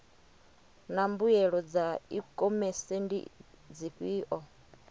naa mbuelo dza ikhomese ndi dzifhio